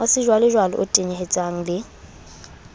wa sejwalejwale o tenyetsehang le